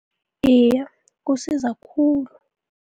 Iye, kusiza khulu.